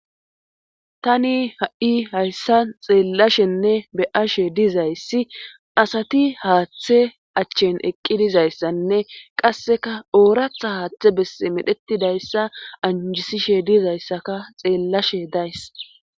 tani ha7i hayssa xeellashenne be ashe dizayssi asati haaththe achchen eqqi dizayssanne qasseka ooratha haaththe bess medhetidayssa anjisishe dizayssaka xeellashe days